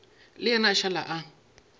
le yena a šala a